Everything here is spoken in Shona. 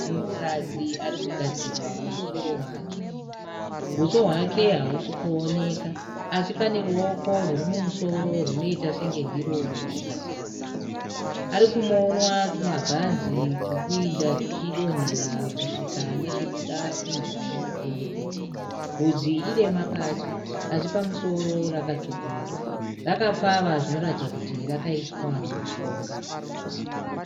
Munhukadzi ari kugadzirwa musoro wake. Uso hwake hausi kuonekwa asi pane ruoko rwuri mumusoro runoita senge ndiro ruri kugadzira bvudzi. Ari kumonwa tumabhanzi turi kuinda tuchidonhera kusvika nechekuda kuenzana namapendekete. Bvudzi idema pasi asi pamusoro rakatsvukuruka. Rakapfava zvinoratidza kuti rakaiswa mushonga.